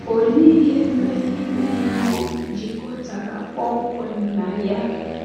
Olee ihe mmepe ime mmụọ jikọtara kpọmkwem na ya?